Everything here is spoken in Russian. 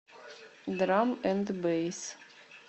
драм энд бэйс